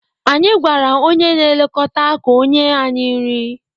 Anyị gwara onye na-elekọta ka o nye anyị nri